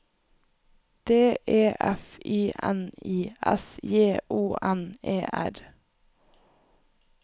D E F I N I S J O N E R